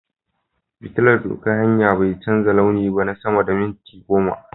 fitillar doƙan hanya bai canza launi ba na sama da mintuna goma.